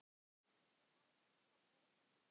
Þetta er almennt kallað ilsig